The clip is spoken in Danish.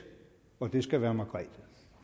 og det skal vær margrethe